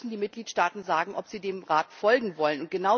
Dann müssen die Mitgliedsstaaten sagen, ob sie dem Rat folgen wollen.